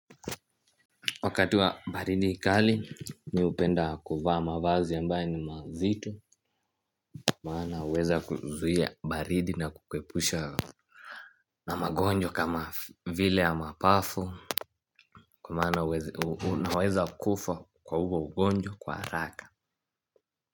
Wakati wa baridi kali ni upenda kuvaa mavazi ambaye ni mazito. Kuma ana weza kuzia baridi na kukepusha na magonjo kama vile ya mapafu. Kwa maana waeza kufa kwa huo ugonjwa kwa raka.